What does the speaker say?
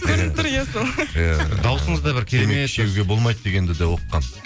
көрініп тұр иә сол иә дауысыңыз да бір керемет болмайды дегенді де оқығанмын